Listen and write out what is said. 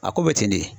A ko bɛ ten de